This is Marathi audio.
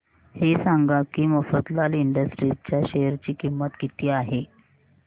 हे सांगा की मफतलाल इंडस्ट्रीज च्या शेअर ची किंमत किती आहे